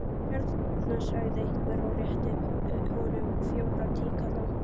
Hérna, sagði einhver og rétti honum fjóra tíkalla.